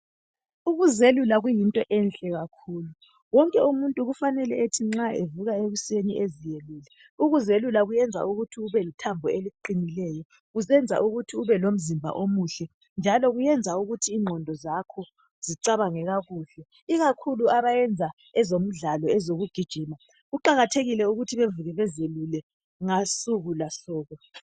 Ukuzelula kuyinto enhle kakhulu. Wonke umuntu kufanele ukuthi nxa evuka ekuseni eziyelule. Ukuzelula kuyenza ukuthi ubelethambo eliqinileyo, kusenza ukuthi ube lomzimba omuhle, njalo kuyenza ukuthi lengqondo zakho zicabange kakuhle, ikakhulu abayenza ezemidlalo, ezokugijima, kuqakathekile ukuthi bevuke bezelula, ngosukungosuku.